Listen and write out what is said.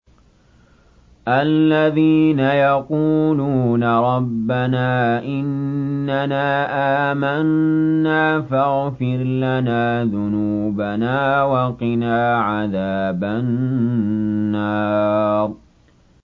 الَّذِينَ يَقُولُونَ رَبَّنَا إِنَّنَا آمَنَّا فَاغْفِرْ لَنَا ذُنُوبَنَا وَقِنَا عَذَابَ النَّارِ